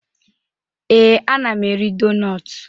Ee, ana m eri donutu.